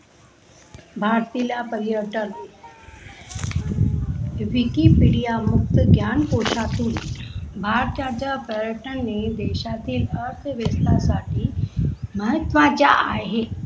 भारतीला पारियार्तन विकिपीडिया मुक्त ज्ञान पोसातून भारत याचा पारियार्तन ने देशातील अर्थव्यवस्था साठी महत्व च्या आहे.